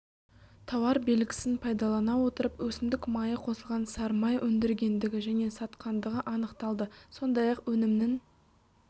тауар белгісін пайдалана отырып өсімдік майы қосылған сары май өндіргендігі және сатқандығы анықталды сондай-ақ өнімнің